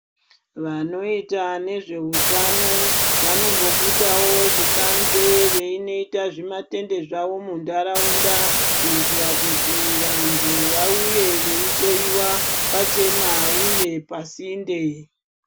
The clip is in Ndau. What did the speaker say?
Vanoita nezve utano vanombobudawo kubanzi veinoita zvimatende zvavo munharaunda kuitira vanhu vauye veihloyiwa pachena uye pasinde.